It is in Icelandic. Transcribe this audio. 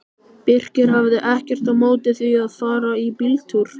Birkir hafði ekkert á móti því að fara í bíltúr.